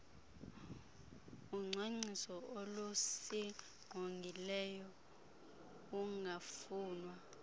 kucwangciso lokusingqongileyo ungafunwa